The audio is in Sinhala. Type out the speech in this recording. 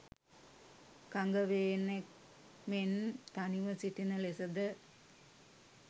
කඟවේනෙක් මෙන් තනිව සිටින ලෙසද